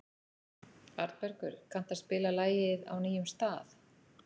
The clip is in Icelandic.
Arnbergur, kanntu að spila lagið „Á nýjum stað“?